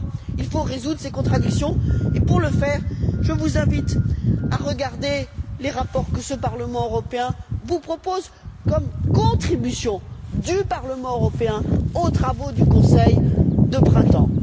Il faut résoudre ces contradictions et, pour le faire, je vous invite à regarder les rapports que cette Assemblée vous propose comme contribution du Parlement européen aux travaux du Conseil de printemps.